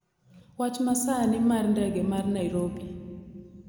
Wach masani mar ndege mar Nairobi